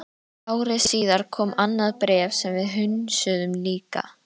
Ári síðar kom annað bréf sem við hunsuðum líka.